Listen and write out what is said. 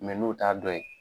n'o ta dɔn yen